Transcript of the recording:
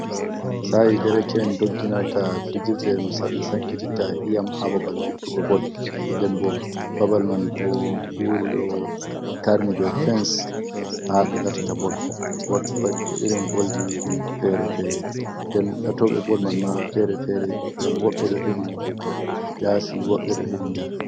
Sa'e dereke’en dogginarta fijirde ɗum ɓe sankititta iyam ha babal lattugo bol, nden bo babal man ɗo huri ɗo tarni be fens ha ɓe lattata bol bo irin bol di ɗim fere-fere. Nden latoɓe bol man ma fere-fere ngam woɓɓe ɗo hedi yasi, woɓɓe do hedi nder.